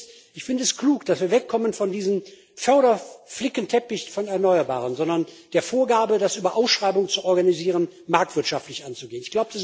Das Erste ist Ich finde es klug, dass wir wegkommen von diesem Förder Flickenteppich von Erneuerbaren, sondern die Vorgabe haben, das über Ausschreibungen zu organisieren, marktwirtschaftlich anzugehen.